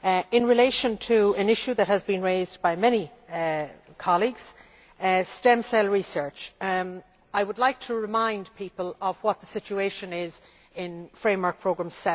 In relation to an issue that has been raised by many colleagues stem cell research I would like to remind people of what the situation is in Framework Programme